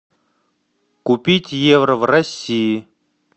купить евро в россии